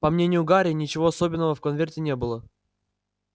по мнению гарри ничего особенного в конверте не было